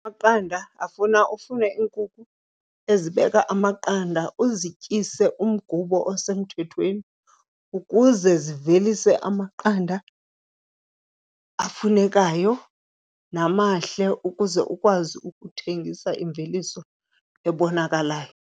Amaqanda afuna ufune iinkukhu ezibeka amaqanda uzityise umgubo osemthethweni ukuze zivelise amaqanda afunekayo namahle ukuze ukwazi ukuthengisa imveliso ebonakalayo.